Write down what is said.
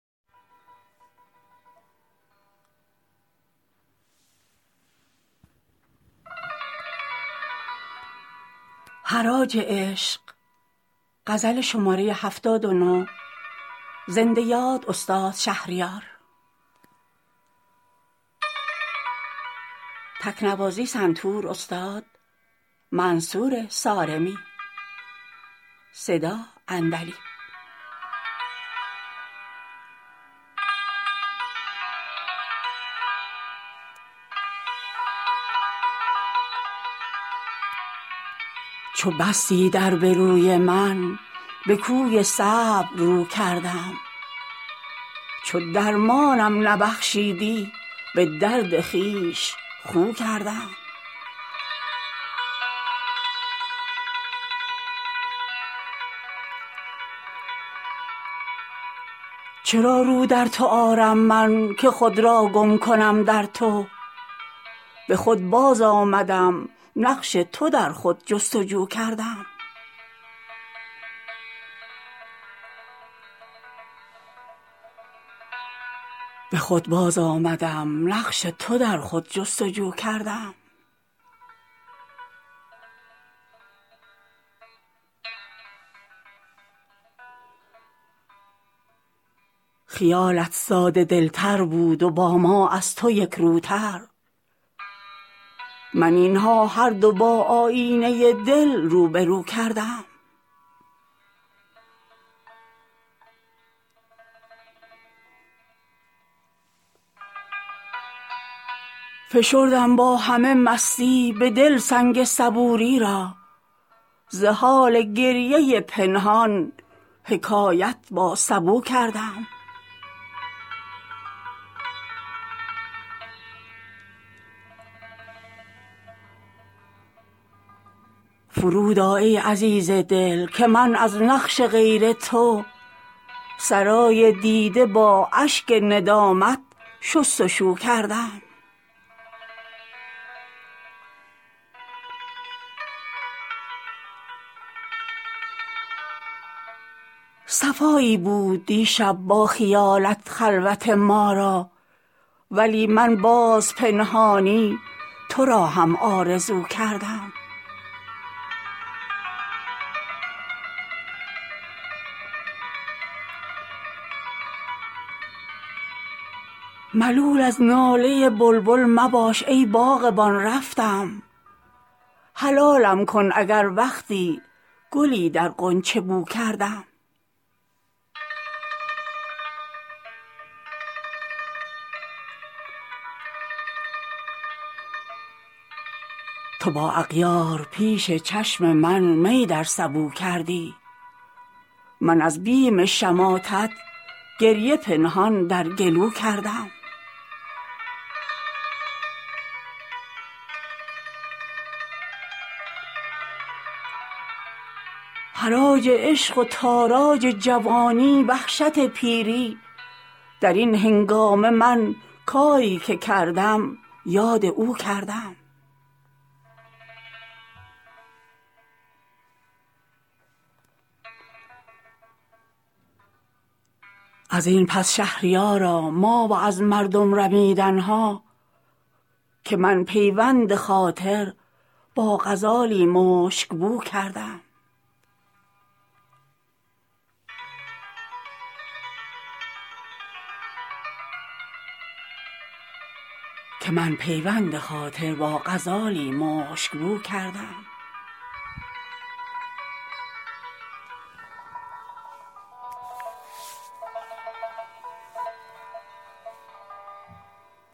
چو بستی در به روی من به کوی صبر رو کردم چو درمانم نبخشیدی به درد خویش خو کردم چرا رو در تو آرم من که خود را گم کنم در تو به خود باز آمدم نقش تو در خود جست وجو کردم خیالت ساده دل تر بود و با ما از تو یک روتر من این ها هر دو با آیینه دل روبه رو کردم فشردم با همه مستی به دل سنگ صبوری را ز حال گریه پنهان حکایت با سبو کردم فرود آ ای عزیز دل که من از نقش غیر تو سرای دیده با اشک ندامت شست و شو کردم صفایی بود دیشب با خیالت خلوت ما را ولی من باز پنهانی تو را هم آرزو کردم ملول از ناله بلبل مباش ای باغبان رفتم حلالم کن اگر وقتی گلی در غنچه بو کردم تو با اغیار پیش چشم من می در سبو کردی من از بیم شماتت گریه پنهان در گلو کردم حراج عشق و تاراج جوانی وحشت پیری در این هنگامه من کاری که کردم یاد او کردم ازین پس شهریارا ما و از مردم رمیدن ها که من پیوند خاطر با غزالی مشک مو کردم